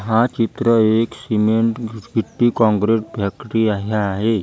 हा चित्र एक सिमेंट घिच गिट्टी काँक्रीट फॅकटी आहे आहे.